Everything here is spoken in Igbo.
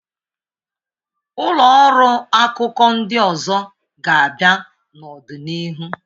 Ụlọ ọrụ akụkọ ndị ọzọ ga-abịa n'ọdịnihu.